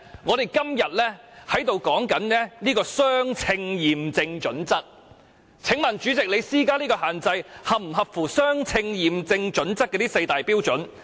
我們今天討論了相稱驗證準則，請問主席，你施加這種限制是否合乎相稱驗證準則的4個步驟？